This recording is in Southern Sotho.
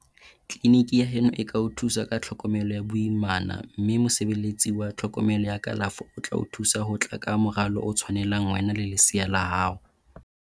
Tleliniki ya heno e ka o thusa ka tlhokomelo ya boimana mme mosebeletsi wa tsa tlhokomelo ya kalafo o tla o thusa ho tla ka moralo o tshwanelang wena le lesea la hao.